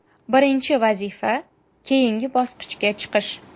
Birinchi vazifa keyingi bosqichga chiqish.